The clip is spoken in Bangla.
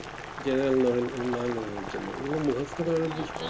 general এই এর জন্য এগুলো